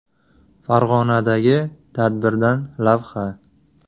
Farg‘onadagi tadbirdan lavha.